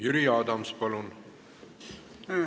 Jüri Adams, palun!